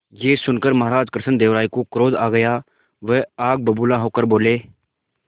यह सुनकर महाराज कृष्णदेव राय को क्रोध आ गया वह आग बबूला होकर बोले